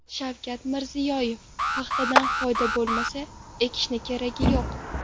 Shavkat Mirziyoyev: Paxtadan foyda bo‘lmasa, ekishning keragi yo‘q .